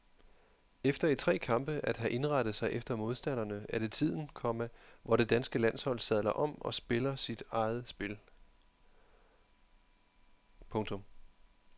Efter i tre kampe at have indrettet sig efter modstanderne er det tiden, komma hvor det danske landshold sadler om og spiller sig eget spil. punktum